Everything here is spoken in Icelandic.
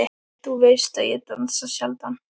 En þú veist að ég dansa sjaldan.